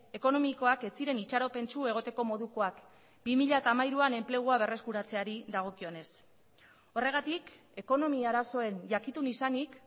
ekonomikoak ez ziren itxaropentsu egoteko modukoak bi mila hamairuan enplegua berreskuratzeari dagokionez horregatik ekonomia arazoen jakitun izanik